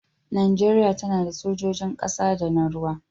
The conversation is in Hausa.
Najeriya tana da sojojin ƙasa da na ruwa.